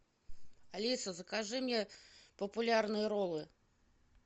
алиса закажи мне популярные роллы